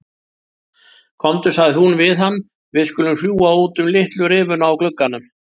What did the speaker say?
Komdu sagði hún við hann, við skulum fljúga út um litlu rifuna á glugganum